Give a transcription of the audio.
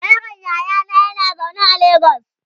yaron yayana yana zaune a legas